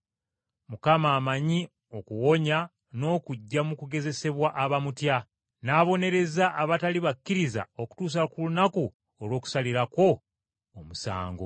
Mukama amanyi okuwonya n’okuggya mu kugezesebwa abamutya, n’abonereza abatali bakkiriza okutuusa ku lunaku olw’okusalirako omusango,